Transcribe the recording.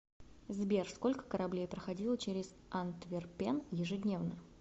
сбер сколько кораблей проходило через антверпен ежедневно